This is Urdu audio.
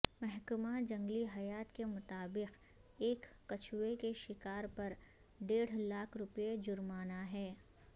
محکمہ جنگلی حیات کے مطابق ایک کچھوے کے شکار پر ڈیڑھ لاکھ روپے جرمانہ ہے